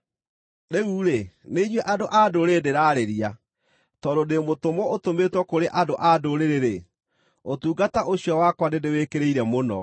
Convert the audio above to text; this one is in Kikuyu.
Rĩu-rĩ, nĩ inyuĩ andũ-a-Ndũrĩrĩ ndĩraarĩria. Tondũ ndĩ mũtũmwo ũtũmĩtwo kũrĩ andũ-a-Ndũrĩrĩ-rĩ, ũtungata ũcio wakwa nĩndĩwĩkĩrĩire mũno,